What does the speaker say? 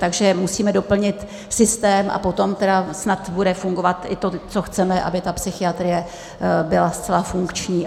Takže musíme doplnit systém, a potom tedy snad bude fungovat i to, co chceme, aby ta psychiatrie byla zcela funkční.